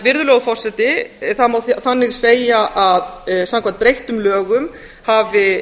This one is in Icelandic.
virðulegur forseti það má þannig segja að samkvæmt breyttum lögum hafi